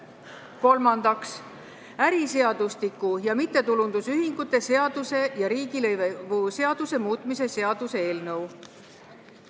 Kolmandaks, äriseadustiku ja mittetulundusühingute seaduse ja riigilõivuseaduse muutmise seaduse eelnõu.